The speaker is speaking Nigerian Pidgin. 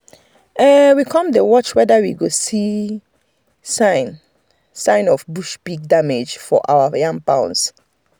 we um come dey watch wether we go see sign sign of bush pig damage for our yam mounds um